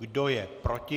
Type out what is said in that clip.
Kdo je proti?